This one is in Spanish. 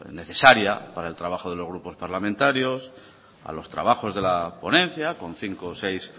necesaria para el trabajo de los grupos parlamentarios a los trabajos de la ponencia con cinco o seis